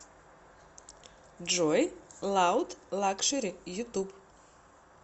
джой лауд лакшери ютуб